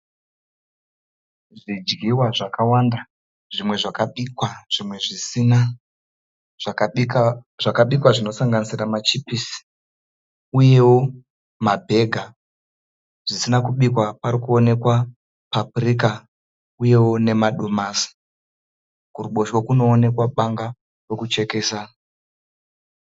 Zvidyiwa zvakawanda. Zvimwe zvakabikwa zvimwe zvisina. Zvakabikwa zvinosanganisira machipisi uyewo mabhega. Zvisina kubikwa pari kuonekwa papurika uyewo nemadomasi. Kuruboshwe kunoonekwa banga rekuchekesa.